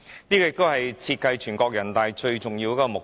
這亦是設計人大常委會最重要的目的。